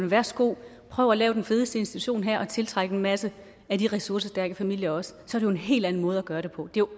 værsgo prøv at lave den fedeste institution her og tiltræk en masse af de ressourcestærke familier også så jo en helt anden måde at gøre det på det